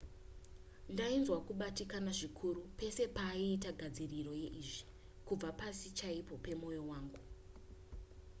ndainzwa kubatikana zvikuru pese pataiita gadziriro yeizvi kubva pasi chaipo pemoyo wangu